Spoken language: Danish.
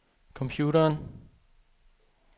computeren